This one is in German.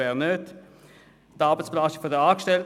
Weiter geht es um die Arbeitsbelastung der Angestellten.